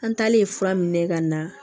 An taalen fura min na ka na